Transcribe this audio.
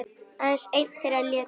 Björn Ingi: Haft eftir þér?